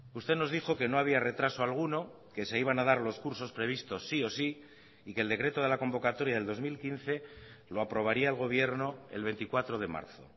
usted nos dijo que no había retraso alguno que se iban a dar los cursos previstos sí o sí y que el decreto de la convocatoria del dos mil quince lo aprobaría el gobierno el veinticuatro de marzo